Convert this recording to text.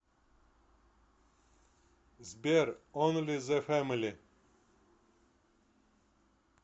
сбер онли зэ фэмили